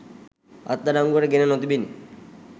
අත්අඩංගුවට ගෙන නොතිබිණි.